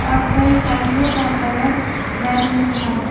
और कई टाइलों का कलर मेरून है।